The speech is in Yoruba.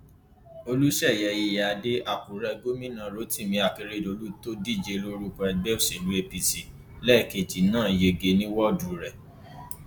olùsẹyẹ iyíáde àkúrẹ gómìnà rotimi akeredolu tó ń díje lórúkọ ẹgbẹ òsèlú apc lẹẹkejì náà yege ní wọọdù rẹ